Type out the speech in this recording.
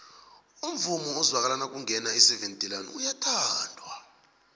umvumo ozwakala nakungena iseven delaan uyathandwa